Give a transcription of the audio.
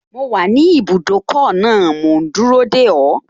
Mo wà ní ibùdókọ̀ náà mò ún dúró dè ọ́